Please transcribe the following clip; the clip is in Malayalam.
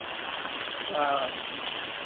അഹ് ആഹ്